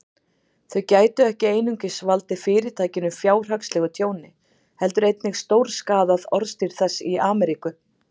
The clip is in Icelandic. Þau gætu ekki einungis valdið Fyrirtækinu fjárhagslegu tjóni, heldur einnig stórskaðað orðstír þess í Ameríku.